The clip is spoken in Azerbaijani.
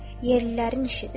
Yerlilərin işidir.